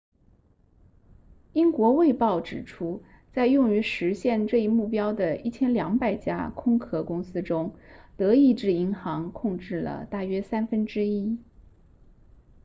英国卫报指出在用于实现这一目标的1200家空壳公司中德意志银行控制了大约三分之一